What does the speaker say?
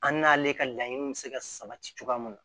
An n'ale ka laɲiniw bɛ se ka sabati cogoya mun na